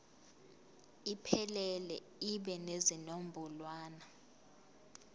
iphelele ibe nezinombolwana